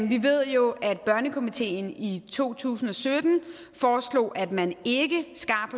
vi ved jo at børnekomiteen i to tusind og sytten foreslog at man ikke skar